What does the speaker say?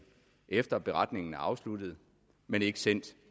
efter at beretningen er afsluttet men ikke sendt